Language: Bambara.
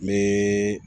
N bɛ